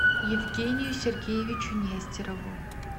евгению сергеевичу нестерову